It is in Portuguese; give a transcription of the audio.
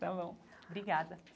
Está bom, obrigada.